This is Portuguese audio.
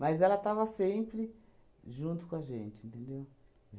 Mas ela estava sempre junto com a gente, entendeu?